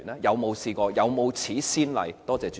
有沒有試過，有沒有此先例？